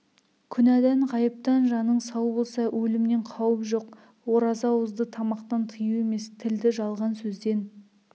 күнәдан ғайыптан жаның сау болса өлімнен қауіп жоқ ораза ауызды тамақтан тыю емес тілді жалған сөзден